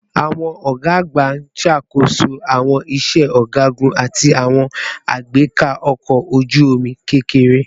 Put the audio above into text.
Awọn ọga agba n ṣakoso awọn iṣẹ ọgagun ati awọn agbeka ọkọ oju-omi kekere